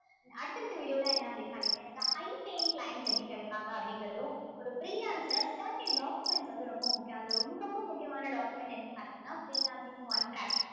and அடுத்த அடுத்த video ல என்ன அப்படின்னு பார்த்தீங்கன்னா எனக்கு high paying client எப்படி கிடைப்பாங்க அப்படிங்கிறதும் ஒரு freelancer thirteen documents வந்து ரொம்ப முக்கியம் அதுல ரொம்ப ரொம்ப முக்கியமான document என்னன்னு பார்த்தீங்கன்னா freelancing contract